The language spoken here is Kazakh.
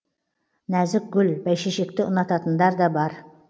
нәзік гүл бәйшешекті ұнататындар да бар